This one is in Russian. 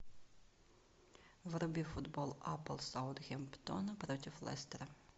вруби футбол апл саутгемптона против лестера